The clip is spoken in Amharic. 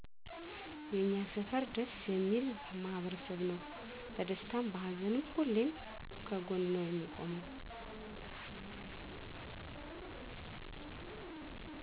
የኛ ሰፈር ደስ የሚል ማህበረሰብ ነው በደስታም በሀዘንም ሁሌም ከጎን ነው የሚቆመው